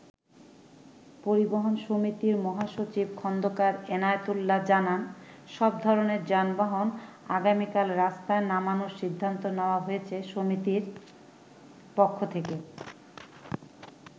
পরিবহন সমিতির মহাসচিব খন্দকার এনায়েতউল্লাহ জানান, সবধরনের যানবাহন আগামিকাল রাস্তায় নামানোর সিদ্ধান্ত নেওয়া হয়েছে সমিতির পক্ষ থেকে।